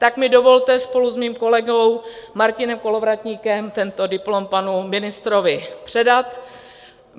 Tak mi dovolte spolu s mým kolegou Martinem Kolovratníkem tento diplom panu ministrovi předat.